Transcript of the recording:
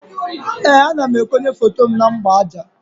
Ee, ana m ekonye foto m na mgbaaja